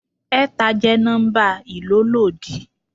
Ẹ̀ta jẹ́ nọ́mbà ìlólòdi.